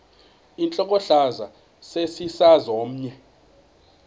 intlokohlaza sesisaz omny